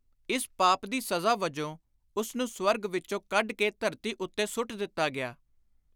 ਇਸ ਪਾਪ ਦੀ ਸਜ਼ਾ ਵਜੋਂ ਉਸਨੂੰ ਸ੍ਵਰਗ ਵਿਚੋਂ ਕੱਢ ਕੇ ਧਰਤੀ ਉੱਤੇ ਸੁੱਟ ਦਿੱਤਾ ਗਿਆ।